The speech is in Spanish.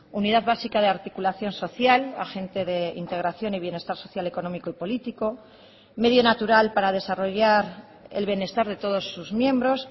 unidad básica de articulación social agente de integración y bienestar social económico y político medio natural para desarrollar el bienestar de todos sus miembros